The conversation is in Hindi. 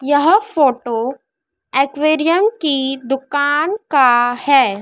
यह फोटो एक्वेरियम की दुकान का है।